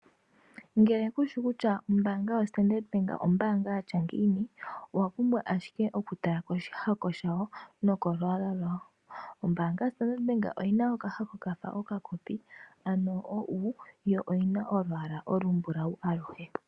Ngele kushi kutya ombaanga yo Standard Bank ombaanga yatya ngiini, owa pumbwa ashike oku tala ko shihako shayo no kolwaala lwayo. Ombaanga yo Standard Bank oyina okahako kafa okakopi ano oU, yo oyina olwaala olumbulawu aluhe.